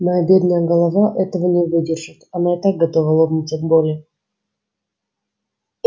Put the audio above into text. моя бедная голова этого не выдержит она так готова лопнуть от боли